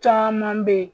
Caman bɛ yen